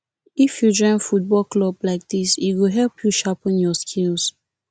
if you join football club like dis e go help you sharpen your skills